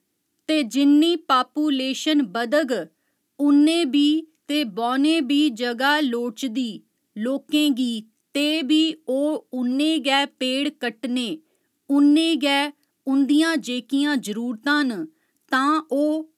ते जिन्नी पापूलेशन बधग उन्ने भी ते बौह्‌ने बी जगह् लोड़चदी लोकें गी ते भी ओह् उन्ने गै पेड़ कट्टने उन्ने गै उं'दियां जेह्कियां जरूरतां न तां ओह्